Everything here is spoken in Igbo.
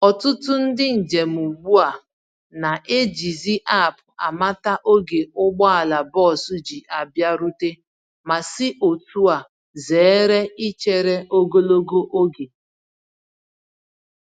Ọtụtụ ndị njem ugbu a na-eji zi App amata ógè ụgbọala bọs ji abịarute, ma si otúa zere ichere ogologo oge.